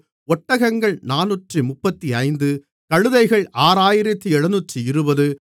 ஒட்டகங்கள் 435 கழுதைகள் 6720